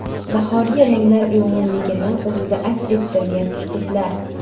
Bahoriy ranglar uyg‘unligini o‘zida aks ettirgan uslublar.